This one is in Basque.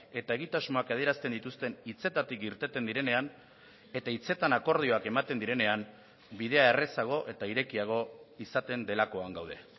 eta egitasmoak adierazten dituzten hitzetatik irteten direnean eta hitzetan akordioak ematen direnean bidea errazago eta irekiago izaten delakoan gaude